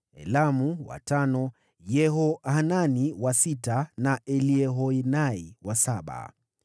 Elamu wa tano Yehohanani wa sita na Eliehoenai wa saba.